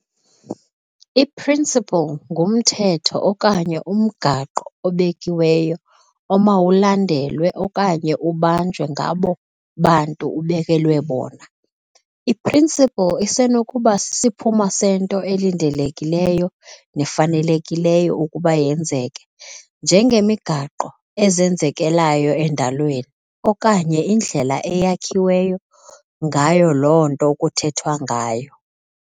I-"principle" ngumthetho okanye umgaqo obekiweyo omawulandelwe okanye ubanjwe ngabo bantu ubekelwe bona. I-"principle" isenokuba sisiphumo sento elindelekileyo nefanelekileyo ukuba yenzeke, njengemigaqo ezenzekelayo endalweni, okanye indlela eyakhiwe ngayo loo nto kuthethwa ngayo.